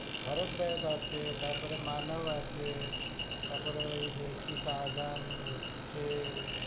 ভরত দেব আছে, তারপরে মানাও আছে, তারপরে ওই যে কি শাহজাহান, আছে,